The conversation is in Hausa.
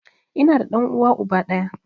Ina da ɗan uwa uba ɗaya